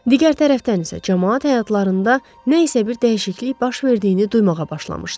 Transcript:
Digər tərəfdən isə camaat həyatlarında nə isə bir dəyişiklik baş verdiyini duymağa başlamışdı.